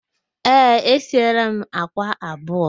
Ee, esieela m àkwá abụọ